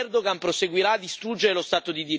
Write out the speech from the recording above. L'Europa deve far valere il suo peso.